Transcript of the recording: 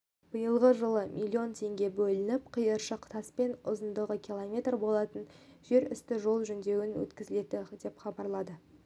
биылғы жылы миллион теңге бөлініп қиыршық таспен ұзындығы километр болатын жерүсті жол жөндеуден өткізілді деп хабарлады